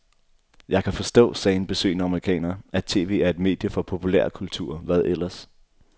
Jeg kan forstå, sagde en besøgende amerikaner, at tv er et medie for populærkultur, hvad ellers?